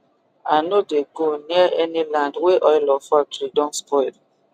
i no dey go near any land wey oil or factory don spoil